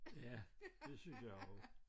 Ja det synes jeg også